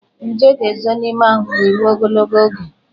Nje ga-ezo n'ime ahụ gị ruo ogologo oge.